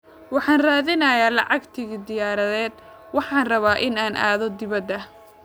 Waxaan raadinayaa lacag tigidh diyaaradeed, waxaan rabaa in aan aado dibadda